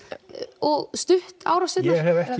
og stutt árásirnar ég hef ekki